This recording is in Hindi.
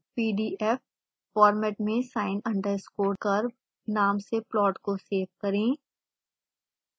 pdf format में sin underscore curve नाम से प्लॉट को सेव करें